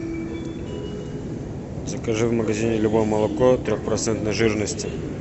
закажи в магазине любое молоко трехпроцентной жирности